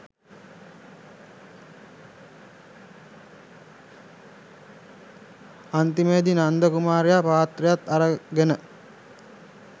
අන්තිමේදී නන්ද කුමාරයා පාත්‍රයත් අරගෙන